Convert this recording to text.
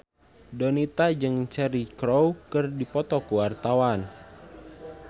Donita jeung Cheryl Crow keur dipoto ku wartawan